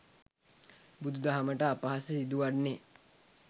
බුදු දහමට අපහාස සිදුවන්නේ